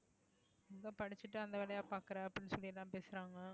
ஏதோ படிச்சுட்டு அந்த வேலையை பாக்குற அப்படின்னு சொல்லி எல்லாம் பேசுறாங்க